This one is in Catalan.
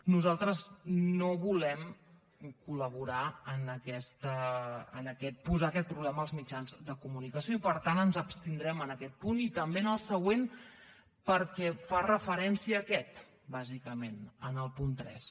nosaltres no volem col·laborar en posar aquest problema als mitjans de comunicació i per tant ens abstindrem en aquest punt i també en el següent perquè fa referència a aquest bàsicament en el punt tres